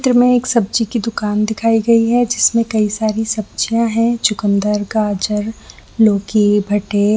चित्र में एक सब्जी की दुकान दिखाई गयी है जिसमें कई सारी सब्जिया है चुकुन्दर गाजर लोकी भट्टे--